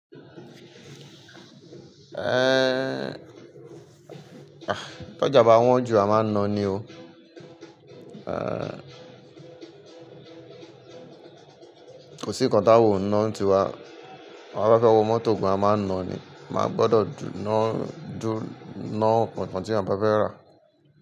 Eh, ah, tó jà bá wọ́n jù a máa ń na ni o. Eh, kò sí ǹkan tá wò ń ná ti wa. Àwa ba fẹ́wo mọ́tò gan a máa ń na ni. A máa gbọdọ̀ dú-- ná dú-- ná ǹkan tí a bá fẹ́ rà.